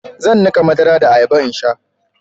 zan nika madara da ayaba in sha